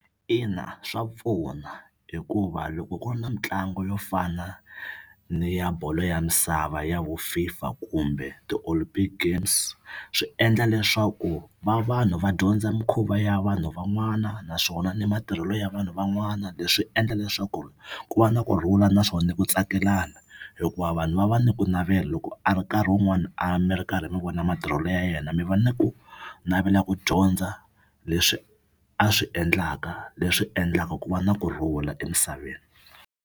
Ina swa pfuna hikuva loko ku ri na mitlangu yo fana ni ya bolo ya misava ya vo FIFA kumbe ti-Olympic games swi endla leswaku va vanhu va dyondza mikhuva ya vanhu van'wana naswona ni matirhelo ya vanhu van'wana. Leswi endla leswaku ku va na kurhula naswona ku tsakelana hikuva vanhu va va ni ku navela loko a ri nkarhi wun'wani a mi ri karhi mi vona matirhelo ya yena mi va ni ku navela ku dyondza leswi a swi endlaka leswi endlaka ku va na kurhula emisaveni.